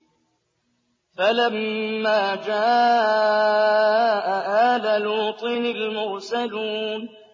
فَلَمَّا جَاءَ آلَ لُوطٍ الْمُرْسَلُونَ